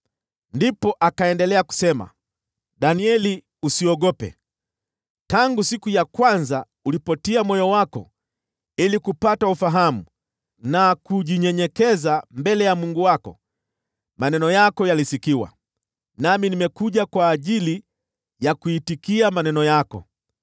Ndipo akaendelea kusema, “Danieli, usiogope. Tangu siku ya kwanza ulipotia moyo wako ili kupata ufahamu na kujinyenyekeza mbele ya Mungu wako, maneno yako yalisikiwa, nami nimekuja ili kujibu maneno yako.